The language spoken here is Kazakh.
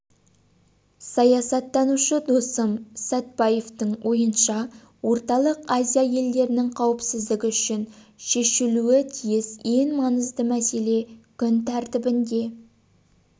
саясаттанушы досым сатпаевтың ойыңша орталық азия елдерінің қауіпсіздігі үшін шешілуі тиіс ең маңызды мәселе күн тәртібінде